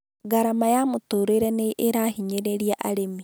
Garama ya mũtũrire nĩ ĩrahinyĩrĩria arĩmi